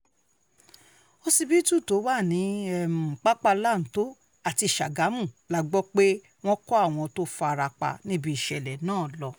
òsíbìtú tó wà ní um pápálọ́ńtò àti ságámù la gbọ́ pé wọ́n um kó àwọn tó fara pa níbi ìṣẹ̀lẹ̀ náà lọ